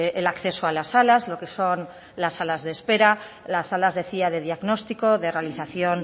el acceso a las salas lo que son las salas de espera las salas decía de diagnóstico de realización